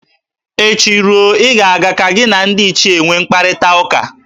Echi ruo, ị ga-aga ka gị na ndị ichie nwe mkparịtaụka